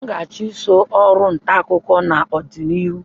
M ga-achụso ọrụ ntaakụkọ n'ọdịnihu